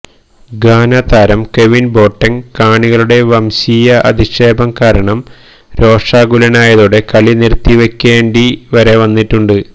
Ghana താരം Kevin Boateng കാണികളുടെ വംശീയ അധിക്ഷേപം കാരണം രോഷാകുലനായതോടെ കളി നിർത്തിവെക്കേണ്ടി വരെ വന്നിട്ടുണ്ട്